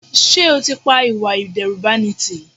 Sé o ti pa ìwà ìdẹ́rùbani tí?